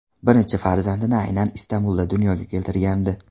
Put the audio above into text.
Birinchi farzandini aynan Istanbulda dunyoga keltirgandi.